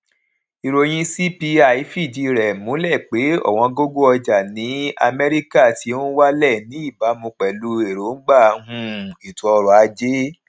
ìròyìn cpi fìdí rè múlẹ pé òwóngógó ọjà ní amérícà ti n wálè ní ìbámu pèlú èròngbà um ètò ọrò ajé